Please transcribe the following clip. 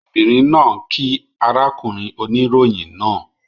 Obìnrin náà kíí arákùnrin oníròyìn náà